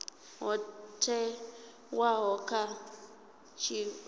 ho thewaho kha tshitshavha na